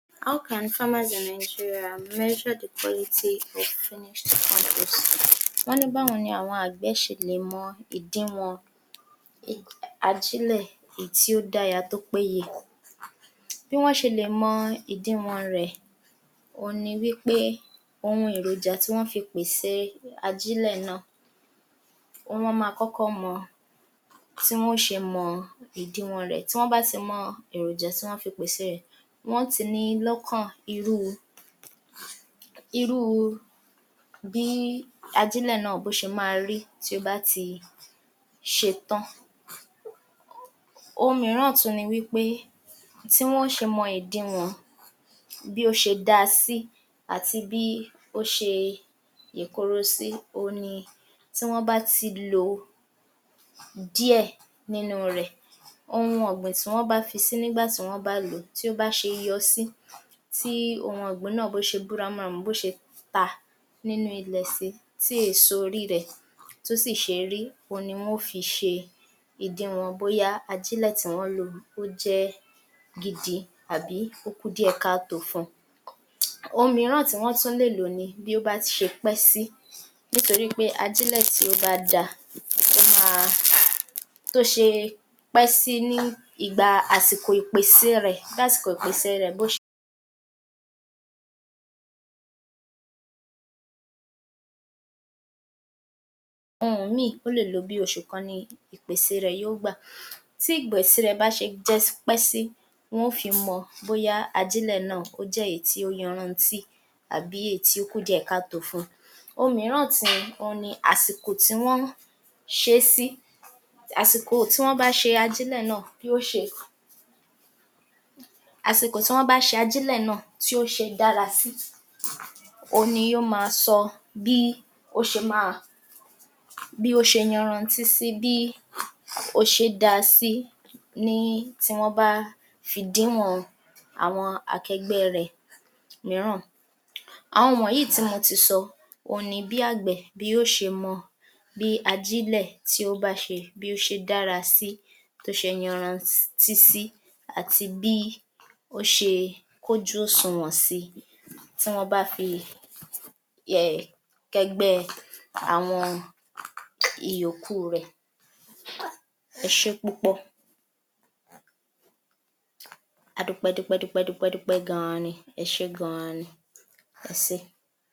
44. How can farmer as Nigerian measured quality of finished content. Wọ́n ní báwo ni àwọn àgbẹ́ ṣe lè mọ ìdiwọn um ajílẹ̀ ìyí tí ó dáya tó péye. Bí wọ́n ṣe lè mọ ìdiwọ̀n rẹ̀ òun ni wí pé ohun èròjà tí wọ́n fi pèsèe Ajílẹ̀ náà, wọ́n mọ́ma kọ́kọ́ mọ tí wọn ó ṣe mọ ìdiwọ̀n rẹ̀, tí wọ́n bá ti mọ èròjà tí wọ́n fi pèsèe rẹ̀ wọ́n ti níi lọ́kàn irúu um bí ajílẹ̀ náà bó ṣe máa rí tí ó bá ti ṣetán. Ohun mìíràn tú ni wí pé tí wọ́n ó ṣe mọ èdiwọ̀n bí ó ṣe dáa sí àti bí ó ṣe ìkore sí òun ni tí wọ́n bá ti lo díẹ̀ nínu rẹ̀. Ohun ọ̀gbìn tí wọ́n bá fi sí nígbà tí wọ́n bá lò ó tí ó bá ṣe yọ sí, tí ohun ọ̀gbìn náà bóṣe bú ramúramù bó ṣe ta nínú ilẹ̀ sí tí èèso oríi rẹ̀ tí ó sì ṣe é rí, ohun ni wọ́n ó fi ṣe ìdiwọ̀n bóyá ajílẹ̀ tí wọ́n lò ó jẹ́ gidi àbí ó kù díẹ̀ káàtó fun. Ohun mìíràn tí wọ́n tú lè lò ni bí ó bá ṣe pẹ́ sí nitorí pé ajílẹ̀ tí ó bá dáa ó máa tó ṣe pẹ́ sí ní ìgba àsìkò ìpèsèe rẹ̀ um ohun-ùn-míì ó lè lo bí oṣù kan ni ìpèsè rẹ̀ yó gbà, tí ìgbèsè rẹ̀ bá ṣe um pẹ́ sí wọn ó fi mọ bóyá ajílẹ̀ náà ó jẹ́ èyí tí ó yanranntí àbí èyí tó kù díẹ̀ káàtó fún. Ohun mìíràn tí ohun ni àsìkò tí wọ́n ṣe é sí, um àsìkò tí wọ́n bá ṣe ajílẹ̀ náà tí ó ṣe dára sí òhun ni yó ma sọ bí ó ṣe máa bí ó ṣe yanranntí sí bí ó ṣe dáa sì sí ní tí wọ́n bá fi díwọn akẹgbẹ́ẹ rẹ̀ mìíràn. Àwọn wọ̀nyí yìí tí mo ti sọ, ohun ni bí àgbẹ̀ bí yó ṣe mọ bí ajílẹ̀ tí ó bá ṣe bí ó ṣe dára sí, tó ṣe yanranntí sí àti bí ó ṣe kójú òsùnwọ̀n sí tí wọ́n bá fi um kẹgbẹ́ẹ àwọn ìyókùu rẹ̀. Ẹ ṣé é púpọ̀.